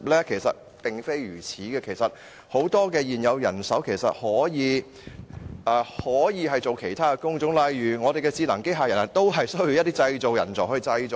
事實並非如此，很多現有人手可以從事其他工種，例如智能機器人也需要製造人才去製造。